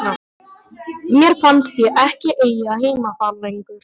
Mér fannst ég ekki eiga heima þar lengur.